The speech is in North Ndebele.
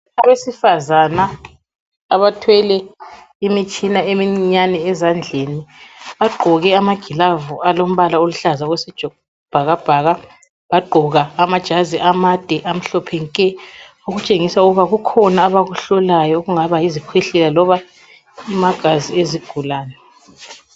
Abesifazana abathwele imitshina emincinyane ezandleni. Bagqoke amagilavu alombala oluhlaza okwesibhakabhaka, bagqoka amajazi amade amhlophe nke, okutshengisa ukuba kukhona abakuhlolayo okungaba yizikhwehlela loba amagazi ezigulane.